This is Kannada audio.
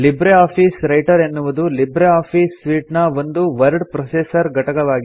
ಲಿಬ್ರೆ ಆಫೀಸ್ ರೈಟರ್ ಎನ್ನುವುದು ಲಿಬ್ರೆ ಆಫೀಸ್ ಸೂಟ್ ನ ಒಂದು ವರ್ಡ್ ಪ್ರೊಸೆಸರ್ ಘಟಕವಾಗಿದೆ